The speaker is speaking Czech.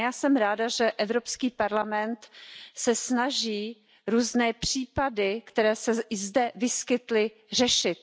A já jsem ráda, že Evropský parlament se snaží různé případy, které se i zde vyskytly, řešit.